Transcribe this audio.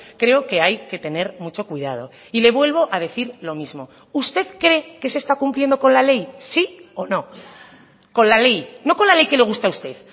creo que hay que tener mucho cuidado y le vuelvo a decir lo mismo usted cree que se está cumpliendo con la ley sí o no con la ley no con la ley que le gusta a usted